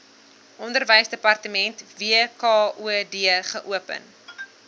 onderwysdepartement wkod geopen